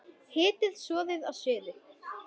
Hitið soðið að suðu.